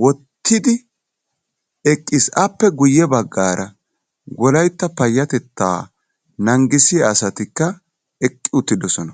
wottidi eqqiis. Appe guye baggaara wolaytta payattettaa nangisiya asatikka eqqi uttiddossona.